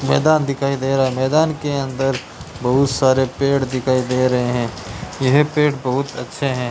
मैदान दिखाई दे रहा है मैदान के अंदर बहुत सारे पेड़ दिखाई दे रहे हैं यह पेड़ बहुत अच्छे हैं।